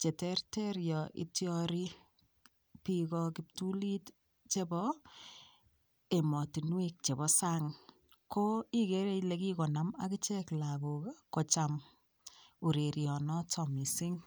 cheterter yo ityori piiko kiptulit chebo emotinwek chebo sang ko igere Ile kikonaam akichek lagok kocham ureryonoto mising